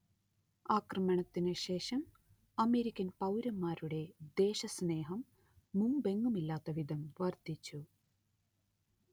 ആക്രമണത്തിനു ശേഷം അമേരിക്കൻ പൗരന്മാരുടെ ദേശസ്നേഹം മുമ്പെങ്ങുമില്ലാത്ത വിധം വർദ്ധിച്ചു